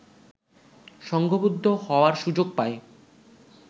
সংঘবদ্ধ হওয়ার সুযোগ পায়